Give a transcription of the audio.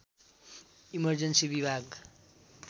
emergency विभाग